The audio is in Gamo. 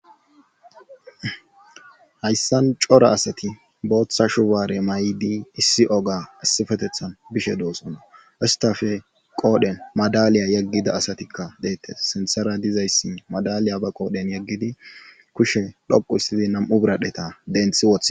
hayssan cora asati booththa shubaare may7di issi oga assifetethan bishe doosonna istafe qoodhen madaliya yeggida asatikka deettes sintera dizayssi madaliya ba qoodhen yeggidi kushe dhoqu issidi nam7u biradheta denthi woth